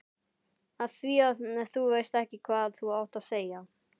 Afþvíað þú veist ekki hvað þú átt að segja.